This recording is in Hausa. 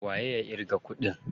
Waye ya ƙirga kuɗin?